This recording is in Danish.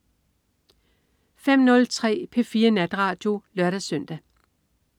05.03 P4 Natradio (lør-søn)